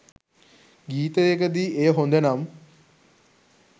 ගීතයකදී එය හොඳ නම්